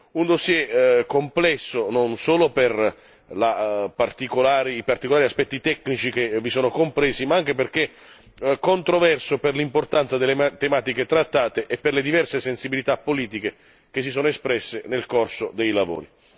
Un dossier complesso, non solo per i particolari aspetti tecnici che vi sono compresi, ma anche perché controverso per l'importanza delle tematiche trattate e per le diverse sensibilità politiche che si sono espresse nel corso dei lavori.